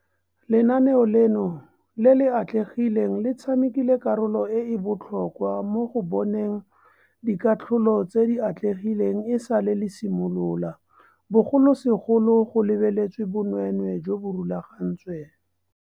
Lenaneo leno le le atlegileng le tshamekile karolo e e botlhokwa mo go boneng dikatlholo tse di atlegileng esale le simolola, bogolosegolo go lebeletswe bonweenwee jo bo rulagantsweng.